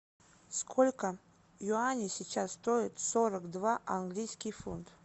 сколько юаней сейчас стоит сорок два английский фунт